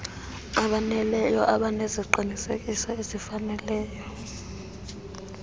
aboneleyo abaneziqinisekiso ezifaneleyo